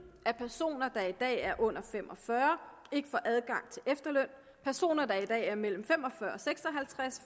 at personer der i dag er under fem og fyrre ikke får adgang til efterløn at personer der i dag er mellem fem og fyrre og seks og halvtreds